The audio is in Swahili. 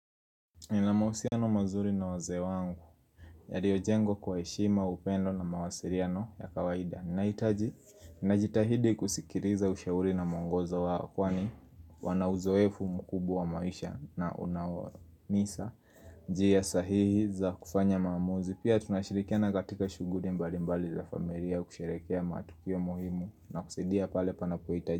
Nina mahusiano mazuri na wazee wangu yaliyo jengwa kwa heshima upendo na mawasiliano ya kawaida Naitaji, najitahidi kusikiliza ushauri na muongozo wao kwani wana uzoefu mkubwa wa maisha na unao nisa njia sahihi za kufanya maamuzi Pia tunashirikiana katika shughuli mbali mbali za familia kusherehekea matukio muhimu na kusaidia pale panapohitaji.